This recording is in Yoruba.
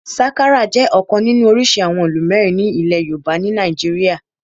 Sakara jẹ́ ọ̀kan nínú orísìí àwọn ìlù mẹ́rin ilẹ̀ yoòbá ní nàìjíríyà